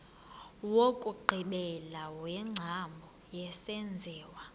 wokugqibela wengcambu yesenziwa